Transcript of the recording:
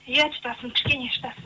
иә шыдасын кішкене шыдасын